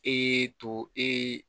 E y'e to ee